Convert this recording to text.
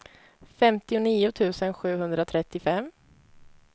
femtionio tusen sjuhundratrettiofem